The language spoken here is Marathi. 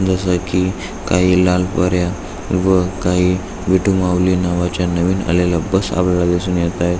जस की काही लाल पऱ्या व काही विटू माऊली नावाच्या नवीन आलेल्या बस आपल्याला दिसून येत आहेत.